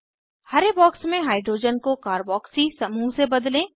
हरे box में hydrogen को carboxy carboxy समूह से बदलें